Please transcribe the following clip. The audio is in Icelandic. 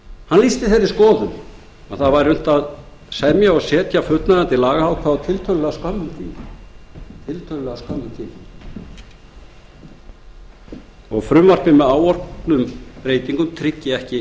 hann lýsti þeirri skoðun að unnt væri að semja og setja fullnægjandi lagaákvæði á tiltölulega skömmum tíma þó að frumvarpið með áorðnum breytingum tryggi ekki